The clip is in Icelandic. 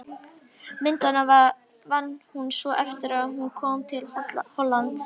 Myndina vann hún svo eftir að hún kom til Hollands.